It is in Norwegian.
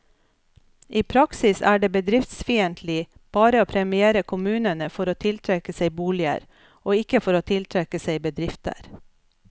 I praksis er det bedriftsfiendtlig bare å premiere kommunene for å tiltrekke seg boliger, og ikke for å tiltrekke seg bedrifter.